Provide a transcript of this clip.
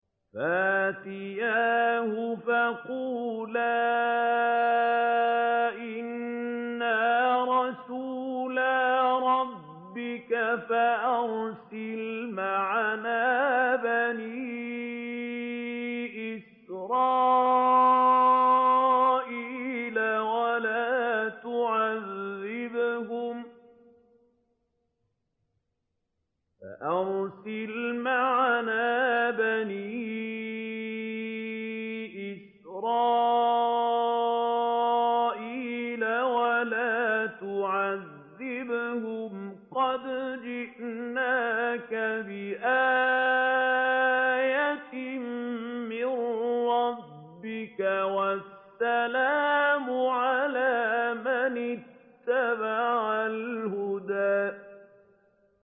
فَأْتِيَاهُ فَقُولَا إِنَّا رَسُولَا رَبِّكَ فَأَرْسِلْ مَعَنَا بَنِي إِسْرَائِيلَ وَلَا تُعَذِّبْهُمْ ۖ قَدْ جِئْنَاكَ بِآيَةٍ مِّن رَّبِّكَ ۖ وَالسَّلَامُ عَلَىٰ مَنِ اتَّبَعَ الْهُدَىٰ